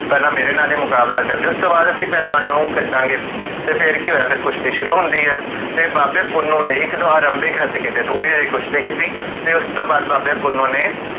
ਪੇਹ੍ਲਾਂ ਮੇਰੇ ਨਾਲ ਇਹ ਮੁਕਾਬਲਾ ਕਰ੍ਲਿਓ ਉਸ ਤੋਂ ਬਾਦ ਅਸੀਂ ਪਹਲਵਾਨ ਨੂੰ ਕਢਾਂਗੇ ਤੇ ਫੇਰ ਕੀ ਹੋਇਆ? ਫੇਰ ਕੁਸ਼ਤੀ ਸ਼ੁਰੂ ਹੁੰਦੀ ਹੈ ਤੇ ਬਾਬੇ ਪੁੰਨੁ ਨੇ ਇਕ ਦੋ ਵਾਰ ਲੰਬੇ ਹਥ ਕੀਤੇ ਕੁਸ਼ਤੀ ਕੀਤੀ